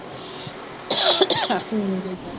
ਠੀਕ ਆ।